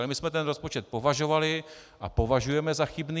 Ale my jsme ten rozpočet považovali a považujeme za chybný.